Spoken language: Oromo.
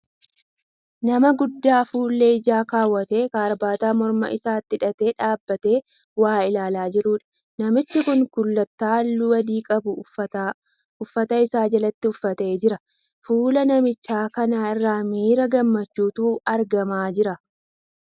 Nama guddaa fuullee ijaa kaawwatee karaabaataa morma isaatti hidhatee dhaabbatee waa ilaalaa jiruudha. Namichi kun kullittaa halluu adii qabu uffata isaa jalatti uffatee jira. Fuula namicha kanaa irraa miira gammachuutu argamaa jira.